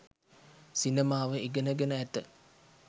සිනමාව ඉගෙන ගෙන ඇත